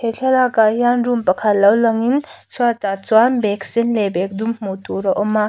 he thlalak ah hian room pakhat lo lang in chhuat ah chuan bag sen leh bag dum hmuh tur a awm a.